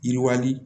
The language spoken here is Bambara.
Yiriwali